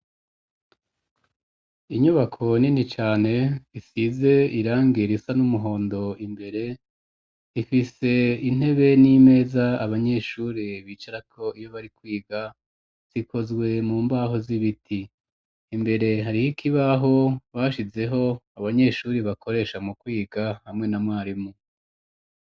Inyubako nini cane isize irangi risa n'umuhondo imbere ifise intebe n'imeza abanyeshure bicarako iyo bari kwiga zikozwe mu mbaho z'ibiti, imbere hari ikibaho bashizeho abanyeshure bakoresha mu kwiga hamwe na mwarimu.